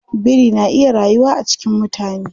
Biri na iya rayuwa a cikin mutane.